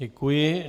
Děkuji.